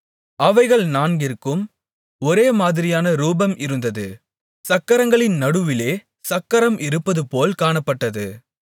அவைகள் நான்கிற்கும் ஒரே மாதிரியான ரூபம் இருந்தது சக்கரங்களின் நடுவிலே சக்கரம் இருப்பதுபோல் காணப்பட்டது